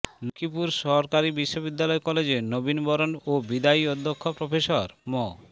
লক্ষ্মীপুর সরকারি বিশ্ববিদ্যালয় কলেজে নবীনবরণ ও বিদায়ী অধ্যক্ষ প্রফেসর মো